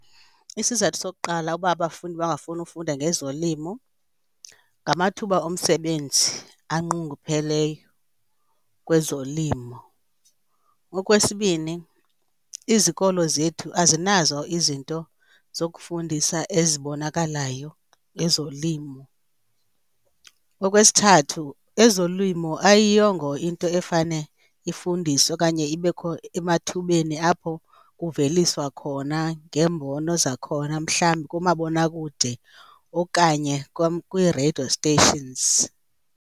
Isizathu sokuqala uba abafundi bangafuni ufunda ngezolimo ngamathuba omsebenzi anqongopheleyo kwezolimo. Okwesibini, izikolo zethu azinazo izinto zokufundisa ezibonakalayo ezolimo. Okwesithathu ezolimo ayiyongo into efane ifundiswe okanye ibekho emathubeni apho kuveliswa khona ngeembono zakhona mhlawumbi kumabonakude okanye kwiireyido stations.